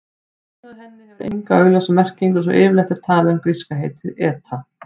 Nafnið á henni hefur enga augljósa merkingu svo yfirleitt er talað um gríska heitið eta.